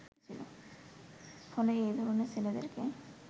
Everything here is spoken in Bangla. ফলে এ ধরনের ছেলেদেরকে